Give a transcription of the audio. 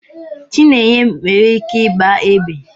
Chinenye nwere ike igba egbe